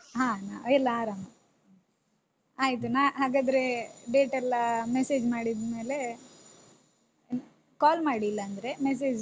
ಹ ನಾವ್ ಎಲ್ಲಾ ಆರಾಮ ಆಯ್ತು ನಾ ಹಾಗಾದ್ರೆ date ಎಲ್ಲ message ಮಾಡಿದ್ಮೇಲೆ call ಮಾಡಿ ಇಲ್ಲಾಂದ್ರೆ message .